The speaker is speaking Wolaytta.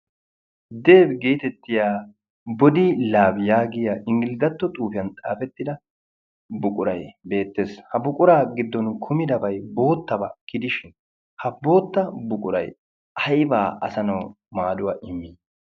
deebi geetettiya bodi laabiyaagiya inggiligatto xuufiyan xaafettida buqurai beettees. ha buquraa giddon kumidabay boottabaa kidishin ha bootta buqurai aybaa asanau maaduwaa immi?